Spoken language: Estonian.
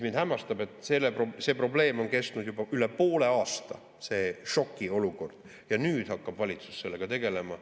Mind hämmastab, et see probleem on kestnud juba üle poole aasta, see šokiolukord, aga nüüd hakkab valitsus sellega tegelema.